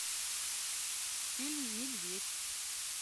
фильм медведь